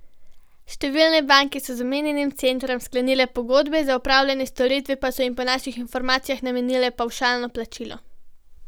Številne banke so z omenjenim centrom sklenile pogodbe, za opravljene storitve pa so jim po naših informacijah namenile pavšalno plačilo.